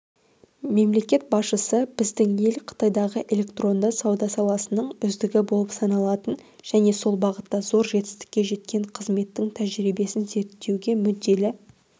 мемлекет басшысы біздің ел қытайдағы электронды сауда саласының үздігі болып саналатын және сол бағытта зор жетістікке жеткен қызметінің тәжірибесін зерттеуге мүдделі